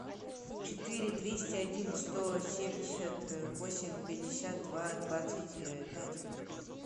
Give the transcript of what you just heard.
четыре двести один сто семьдесят восемь пятьдесят два двадцать пять